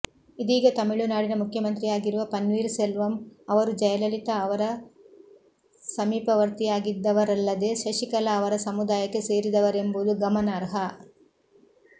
ಇದೀಗ ತಮಿಳುನಾಡಿನ ಮುಖ್ಯಮಂತ್ರಿಯಾಗಿರುವ ಪನ್ನೀರ್ ಸೆಲ್ವಂ ಅವರು ಜಯಲಲಿತಾ ಅವರ ಸಮೀಪವರ್ತಿಯಾಗಿದ್ದವರಲ್ಲದೆ ಶಶಿಕಲಾ ಅವರ ಸಮುದಾಯಕ್ಕೆ ಸೇರಿದವರೆಂಬುದು ಗಮನಾರ್ಹ